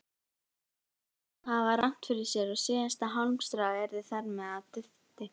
Eða að hafa rangt fyrir sér og síðasta hálmstráið yrði þar með að dufti.